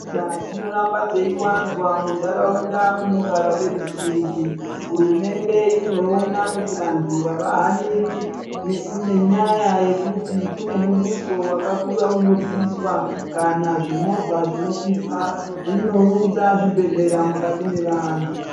Nzira dzinoramba dzeiwanzwa munharaunda munogara veruzhinji. Hurumende inoona kuti vanhtu avahaniri nenyaya yekuti kune muduso wakakura unobviswa kana zvimovha zvinokwirwa inounza zvibhedhlera mukati mevantu.